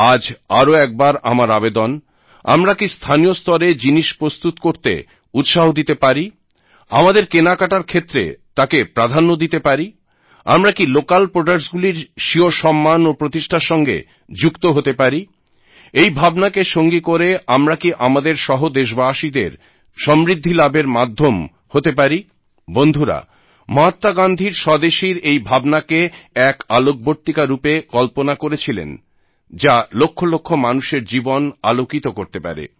আজ আরও একবার আমার আবেদন আমরা কি স্থানীয় স্তরে জিনিস প্রস্তুত করতে উৎসাহ দিতে পারি আমাদের কেনাকাটার ক্ষেত্রে তাকে প্রাধান্য দিতে পারি আমরা কি লোকাল প্রডাক্টস গুলির স্বীয় সম্মান ও প্রতিষ্ঠার সঙ্গে যুক্ত হতে পারি এই ভাবনাকে সঙ্গী করে আমরা কি আমাদের সহ দেশবাসীদের সমৃদ্ধি লাভের মাধ্যম হতে পারি বন্ধুরা মহাত্মা গান্ধী স্বদেশীর এই ভাবনাকে এমন এক আলোকবর্তিকা রূপে কল্পনা করেছিলেন যা লক্ষ লক্ষ মানুষের জীবন আলোকিত করতে পারে